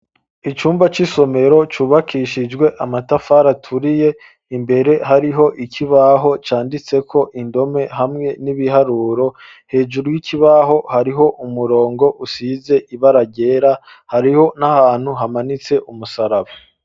Icumba c'isomero cubakishijwe amatafari aturiye, imbere hariho ikibaho canditseko indome hamwe n'ibiharuro hejuru y'ikibaho, hariho umurongo usize ibara ryera hariho n'ahantu hamanitse umusaraba.